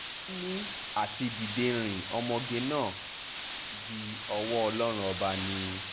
wọ́n ní àti dídé rin ọmọge náà dí ọwọ́ ọlọ́run ọba ni